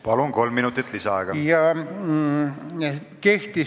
Palun, kolm minutit lisaaega!